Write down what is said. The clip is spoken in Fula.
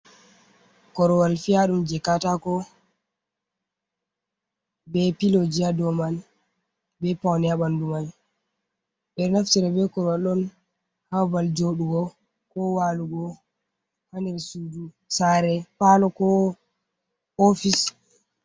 Korwal fi’aɗum je katako, be filoji ha dau man, be paune ha ɓandu man. Ɓe ɗo naftire be korwal on ha babal joɗugo, ko walugo hander sudu, sare, palo, ko ofis.